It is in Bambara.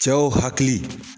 Cɛw hakili